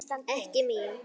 Ekki mín.